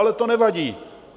Ale to nevadí!